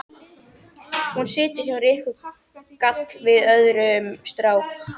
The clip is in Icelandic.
Hún situr hjá Rikku, gall við í öðrum strák.